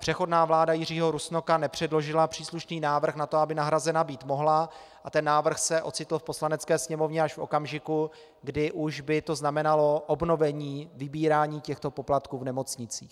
Přechodná vláda Jiřího Rusnoka nepředložila příslušný návrh na to, aby nahrazena být mohla, a ten návrh se ocitl v Poslanecké sněmovně až v okamžiku, kdy už by to znamenalo obnovení vybírání těchto poplatků v nemocnicích.